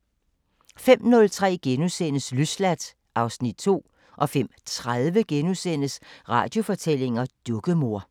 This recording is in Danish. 05:03: Løsladt (Afs. 2)* 05:30: Radiofortællinger: Dukkemor *